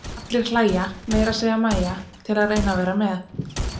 Allir hlæja, meira að segja Mæja, til að reyna að vera með.